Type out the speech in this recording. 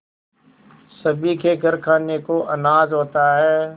सभी के घर खाने को अनाज होता है